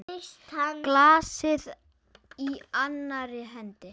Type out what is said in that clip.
Glasið í annarri hendi.